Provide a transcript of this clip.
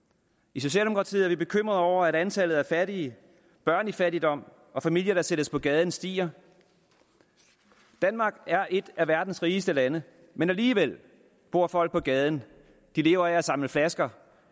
i socialdemokratiet er vi bekymrede over at antallet af fattige børn i fattigdom og familier der sættes på gaden stiger danmark er et af verdens rigeste lande men alligevel bor folk på gaden de lever af at samle flasker